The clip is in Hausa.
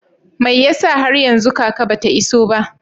Mai yasa har yanzu kaka ba ta iso ba?